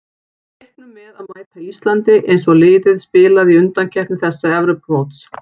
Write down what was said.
Við reiknum með að mæta Íslandi eins og liðið spilaði í undankeppni þessa Evrópumóts.